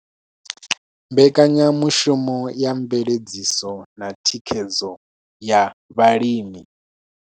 Mbekanyamushumo ya Mveledziso na Thikhedzo ya Vhalimi.